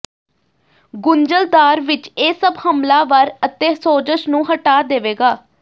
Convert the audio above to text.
ਗੁੰਝਲਦਾਰ ਵਿਚ ਇਹ ਸਭ ਹਮਲਾਵਰ ਅਤੇ ਸੋਜਸ਼ ਨੂੰ ਹਟਾ ਦੇਵੇਗਾ